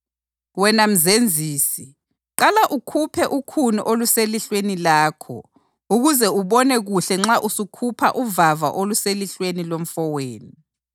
Wena mzenzisi, qala ukhuphe ukhuni oluselihlweni lakho ukuze ubone kuhle nxa usukhupha uvava oluselihlweni lomfowenu.